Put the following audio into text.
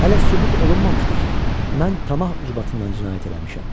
Hələ sübut olunmamışdı ki, mən tamah ucbatından cinayət eləmişəm.